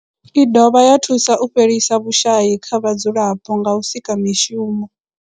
I dovha ya thusa u fhelisa vhushayi kha vhadzulapo nga u sika mishumo.